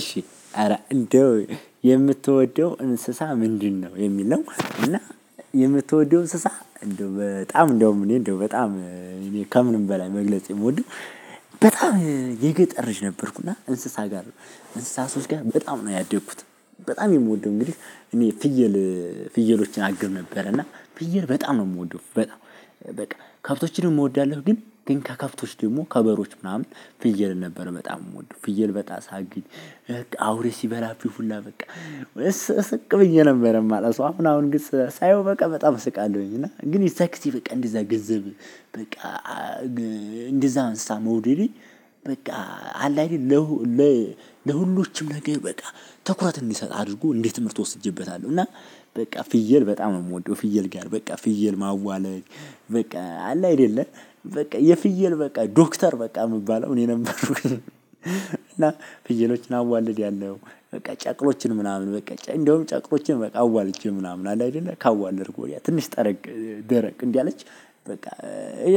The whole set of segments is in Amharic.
እሺ ኧረ እንደው የምትወደው እንስሳ ምንድን ነው? የሚል ነው እና የምትወደው እንስሳ እንደው በጣም እንደውም እንዴ እንደው በጣም ከምንም በላይ መግለጽ የምወደው። በጣም የገጠር ነበርኩና እንስሳ ጋር ነው። እንስሳቶች ጋር በጣም ነው ያደኩት። በጣም የምወደው እንግዲህ እኔ ፍየል ፍየሎችን አግድ ነበር። እና ፍየል በጣም ነው የምወደው በጣም በቃ ከብቶችን እወዳለሁ። ግን ከከብቶች ደግሞ ከበሮች ምናምን ፍየል ነበር በጣም የምወደው ፍየል በጣም ሳግድ። አውሬ ሲበላብኝ ሁላ በቃ ስቅ ስቅ ብየ ነበር የማለቅሰው። አሁን አሁን ግን ሳየው በቃ በጣም እስቃለሁኝ። እና ግን የዛ ግዜ በቃ እንደዛ ገንዘብ በቃ እንደዛ አንስሳ መውደድን በቃ አላይድ ለሁ። ለሁሉ ለሁሉም ነገር በቃ ትኩረት እንድሰጥ አድርጎ እንዴት ትምህርት ወስጄበታለሁ። እና በቃ ፍየል በጣም ነው የምወደው። ፍየል ጋር በቃ ፍየል ማዋለግ በቃ አለ አይደለ በቃ የፍየል በቃ ዶክተር በቃ የምባለው እኔ ነበርኩኝ። እና ፍየሎችን አዋለድ ያለው በቃ ጨቅሎችን ምናምን በቃ እንደውም ጨቅሎችን በቃ አዋልጃ ምናምን አለ አይደለ ካዋለድኩኝ ትንሽ ደረቅ እንዳለች በቃ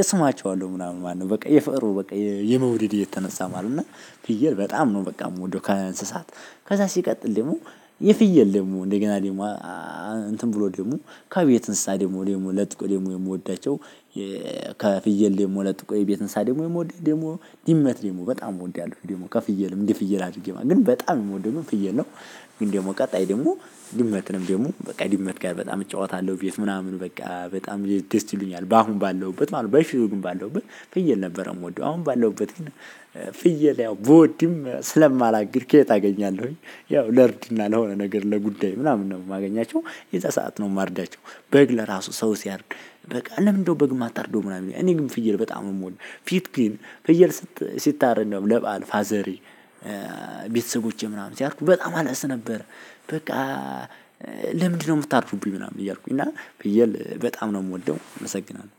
እስማቸው አለው ምናምን ማነው በቃ የፍቅሩ በቃ የመውደድ እየተነሳ ማለት ነው። እና ፍየል በጣም ነው በቃ የምወደው። ከእንስሳት ከዛ ሲቀጥል ደግሞ የፍየል ደግሞ እንደገና ደግሞ እንትን ብሎ ደግሞ ከቤት እንስሳ ደግሞ ለጥቆ ደግሞ የምወዳቸው። ከፍየል ደግሞ ለጥቆ የቤት እንስሳ ደግሞ የምወደው ደግሞ ድመት ደግሞ በጣም እወዳለሁ። ከፍየልም እንደ ፍየል አድርጌ ግን በጣም የምወደው ፍየል ነው። ግን ደግሞ ቀጣይ ደግሞ ድመትንም ደግሞ በቃ ድመት ጋር በጣም እጫወታለሁ ቤት ምናምን በቃ በጣም ደስ ይሉኛል በአሁን ባለውበት ማለት ነው። በፊት ባለውበት ፍየል ነበረ የምወደው አሁን ባለውበት ግን ፍየል ያው ብወድም ስለማላግድ ከሌለ አገኛለሁኝ ያው ለርድ እና ለሆነ ነገር ለጉዳዩ ምናምን ነው የማገኛቸው የዛ ሰዓት ነው የማርዳቸው። በግ ለራሱ ሰው ሲያርድ በቃ ለምንድነው በግ እማታርደው? ምናምን እኔ ግን ፍየል በጣም የምወድንፊት ግን ፍየል ሲታረድ ነው ለባል ፋዘሪ ቤተሰቦቼ ምናምን ሲያርዱ በጣም አለቅስ ነበር። በቃ ለምንድነው የምታርዱብኝ ምናምን? እያልኩኝ እና ፍየል በጣም ነው የምወደው። እመሰግናለሁ